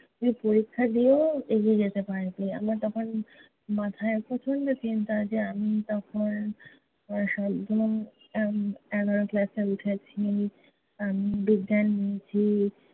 তুই পরীক্ষা দিয়েও এগিয়ে যেতে পারবি। আমার তখন মাথায় প্রচণ্ড চিন্তা যে আমি তখন সবে এর এগার class এ উঠেছি, উম বিজ্ঞান নিয়েছি